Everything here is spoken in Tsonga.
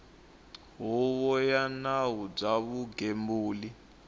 huvo ya nawu bya vugembuli